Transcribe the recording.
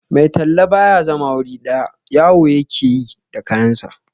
Mai talla ba ya zama wuri ɗaya, yawo ya ke yi da kayansa.